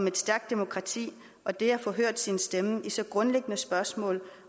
et stærkt demokrati og det at få hørt sin stemme i så grundlæggende et spørgsmål